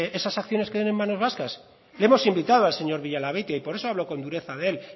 esas acciones queden en manos vascas le hemos invitado al señor villalabeitia y por eso hablo con dureza de él